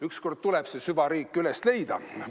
Ükskord tuleb see süvariik üles leida.